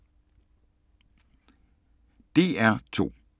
DR2